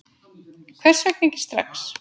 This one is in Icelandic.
Hvers vegna ekki strax?